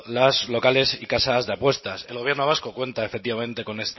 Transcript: los locales y casas de apuestas el gobierno vasco cuenta efectivamente